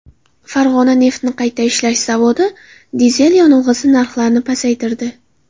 Farg‘ona neftni qayta ishlash zavodi dizel yonilg‘isi narxlarini pasaytirdi.